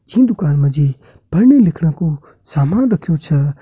छीं दुकान माजी पड़ना-लिख्णु कु सामान रखयूं छा।